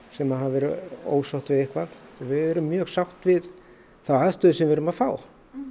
sem hafa verið ósátt við eitthvað við erum mjög sátt við þá aðstöðu sem við erum að fá